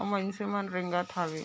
मन से मन रेंगत हवॆ ।